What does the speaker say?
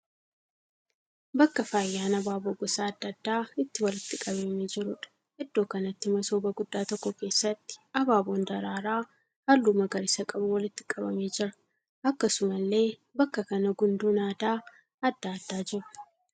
Bakka faayyaan abaaboo gosa adda addaa itti walitti qabamee jiruudha. Iddoo kanatti masooba guddaa tokko keessatti abaaboon daraaraa halluu magariisa qabu walitti qabamee jira. Akkasumallee bakka kana gundoon aadaa adda addaa jiru.